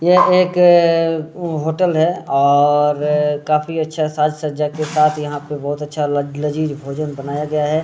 ये एक होटल है और काफी अच्छा साज-सज्जा के साथ यहां पे बहुत अच्छा ला लजीज भोजन बनाया गया है।